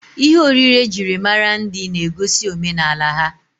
Ihe oriri ejiri mara ndi na-egosi omenala ha.